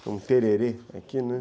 Tem um tererê aqui, né?